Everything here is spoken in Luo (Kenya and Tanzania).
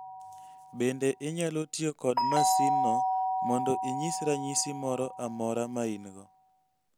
Bende inyalo tiyo kod masinno mondo inyis ranyisi moro amora ma in-go.